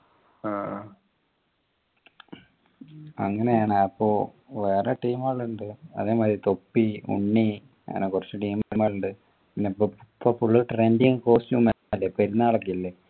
ആഹ് അങ്ങനെയാണ് അപ്പോ വേറെ team കൾ ഉണ്ട് അതേമാതിരി തൊപ്പി ഉണ്ണി അങ്ങനെ കുറച്ചു team ലുണ്ട് പിന്നെ പ്പോ പ്പോ full trending costume അല്ലെ പെരുന്നാളൊക്കെ അല്ലെ